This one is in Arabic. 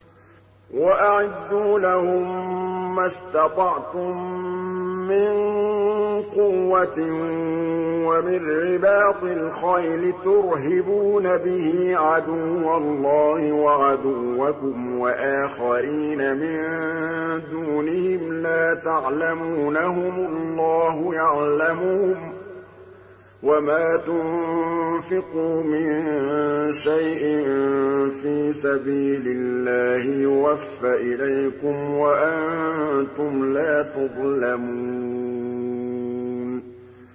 وَأَعِدُّوا لَهُم مَّا اسْتَطَعْتُم مِّن قُوَّةٍ وَمِن رِّبَاطِ الْخَيْلِ تُرْهِبُونَ بِهِ عَدُوَّ اللَّهِ وَعَدُوَّكُمْ وَآخَرِينَ مِن دُونِهِمْ لَا تَعْلَمُونَهُمُ اللَّهُ يَعْلَمُهُمْ ۚ وَمَا تُنفِقُوا مِن شَيْءٍ فِي سَبِيلِ اللَّهِ يُوَفَّ إِلَيْكُمْ وَأَنتُمْ لَا تُظْلَمُونَ